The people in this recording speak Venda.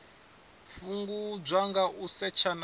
fhungudzwa nga u setsha na